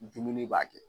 Dumuni b'a kɛ